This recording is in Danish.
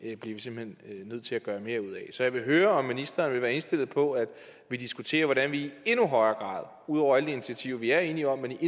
bliver vi simpelt hen nødt til at gøre mere ud af så jeg vil høre om ministeren vil være indstillet på at vi diskuterer hvordan vi i endnu højere grad ud over alle de initiativer vi er enige om kan